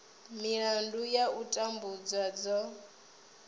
milandu ya u tambudzwa dzo